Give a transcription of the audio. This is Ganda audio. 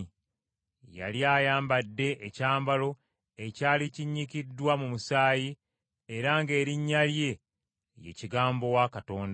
Yali ayambadde ekyambalo ekyali kinnyikiddwa mu musaayi era ng’erinnya lye ye Kigambo wa Katonda.